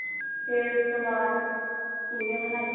ਫੇਰ ਉਸ ਤੋਂ ਬਾਅਦ ਪੁਰੀਆਂ ਬਣਾਲੋ